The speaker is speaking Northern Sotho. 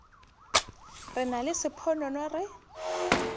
re nna le sponono re